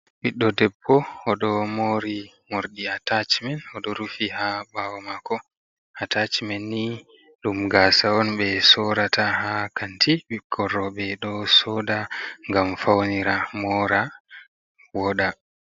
Ɓiɗɗo debbo, oɗo mori morɗi atachimen oɗo rufi ha ɓawo mako, atachimen ni ɗum gasa on ɓe sorata ha kanti, ɓikkon roɓe ɗo soda gam faunira mora woɗa.